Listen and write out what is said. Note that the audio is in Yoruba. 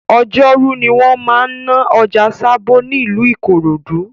Ọjọ́rú ni wọ́n máa ń ná ọjà Sabo nílùú Ikorodu